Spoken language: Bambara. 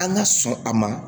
An ka sɔn a ma